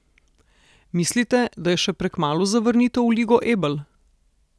Mislite, da je še prekmalu za vrnitev v Ligo Ebel?